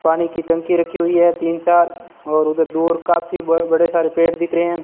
पानी की टंकी रखी हुई है तीन चार और उधर दूर काफी ब बड़े सारे पेड़ दिख रहे हैं।